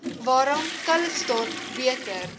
waarom calitzdorp beter